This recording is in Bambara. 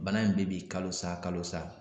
Bana in bɛ bin kalosa kalosa